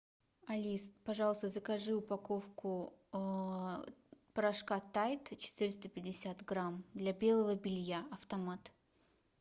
алис пожалуйста закажи упаковку порошка тайд четыреста пятьдесят грамм для белого белья автомат